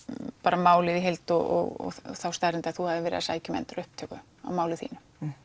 málið í heild og þá staðreynd að þú hafir verið að sækja um endurupptöku á málinu þínu